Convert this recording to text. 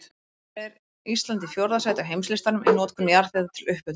Hins vegar er Ísland í fjórða sæti á heimslistanum í notkun jarðhita til upphitunar.